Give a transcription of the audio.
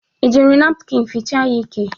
I ji napkịn fichaa ya ike?